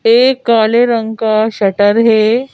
ये काले रंग का शटर है।